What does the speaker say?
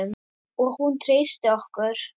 Og hún treysti okkur.